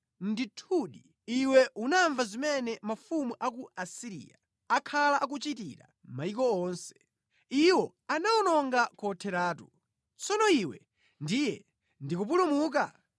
Ndithudi iwe unamva zimene mafumu a ku Asiriya akhala akuchitira mayiko onse. Iwo anawawononga kotheratu. Tsono iwe ndiye ndi kupulumuka?